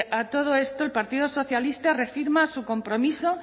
a todo esto el partido socialista reafirma su compromiso